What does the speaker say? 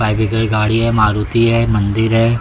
गाड़ी है मारुति है मंदिर है।